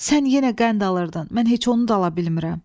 Sən yenə qənd alırdın, mən heç onu da ala bilmirəm.